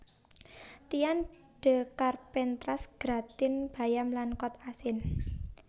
Tian de Carpentras gratin bayam lan kod asin